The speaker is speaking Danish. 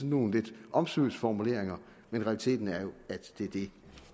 nogle lidt omsvøbsformuleringer men realiteten er at det er det